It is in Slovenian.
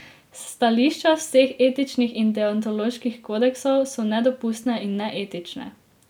S stališča vseh etičnih in deontoloških kodeksov so nedopustne in neetične.